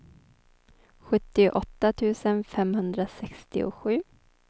sjuttioåtta tusen femhundrasextiosju